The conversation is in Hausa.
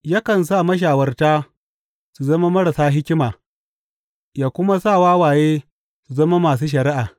Yakan sa mashawarta su zama marasa hikima yă kuma sa wawaye su zama masu shari’a.